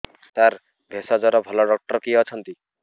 ସାର ଭେଷଜର ଭଲ ଡକ୍ଟର କିଏ ଅଛନ୍ତି